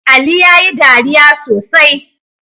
Ali yayi dariya sosai